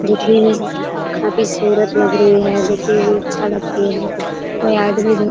देखने में काफी सूरत लग रही है। देखने मे अच्छा लगती है। कै आदमी भी --